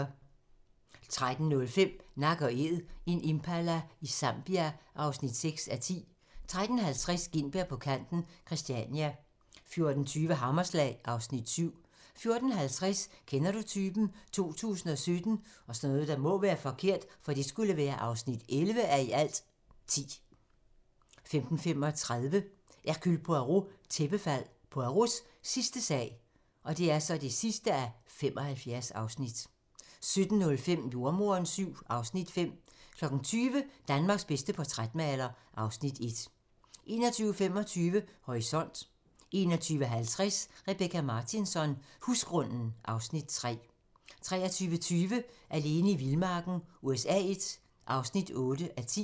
13:05: Nak & Æd - en impala i Zambia (6:10) 13:50: Gintberg på kanten – Christiania 14:20: Hammerslag (Afs. 7) 14:50: Kender du typen? 2017 (11:10) 15:35: Hercule Poirot: Tæppefald - Poirots sidste sag (75:75) 17:05: Jordemoderen VII (Afs. 5) 20:00: Danmarks bedste portrætmaler (Afs. 1) 21:25: Horisont 21:50: Rebecka Martinsson: Husgrunden (Afs. 3) 23:20: Alene i vildmarken USA I (8:10)